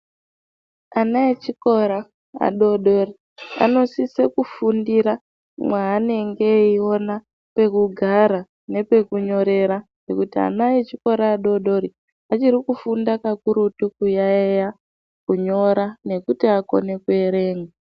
Ana echikora adodori anosisa kufundira mwanenge eiona pekugara nepekunyorera nekuti ana echikora adodori achiri kufundira kakurutu kuyayeya kunyora nekuti akone kuerenga.